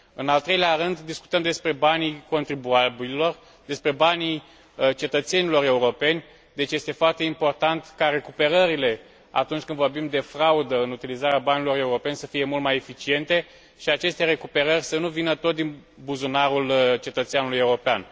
În al treilea rând, discutăm despre banii contribuabililor, despre banii cetățenilor europeni, deci este foarte important ca recuperările, atunci când vorbim de fraudă în utilizarea banilor europeni, să fie mult mai eficiente și aceste recuperări să nu vină tot din buzunarul cetățeanului european.